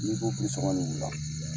N'i ko u la.